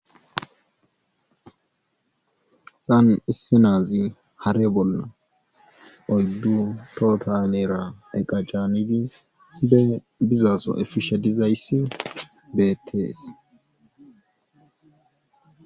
Hayssan issinazi hare bolla oyddu tohota hinera eqa caanidi bizaso efishe dizayssi beettes.